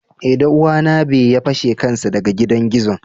Eh danuwa na be ya fashe kansa daga gidan gizo.